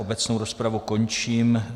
Obecnou rozpravu končím.